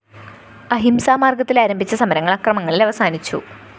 അഹിംസാ മാര്‍ഗത്തിലാരംഭിച്ച സമരങ്ങള്‍ അക്രമങ്ങളില്‍ അവസാനിച്ചു